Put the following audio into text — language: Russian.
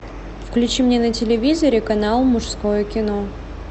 включи мне на телевизоре канал мужское кино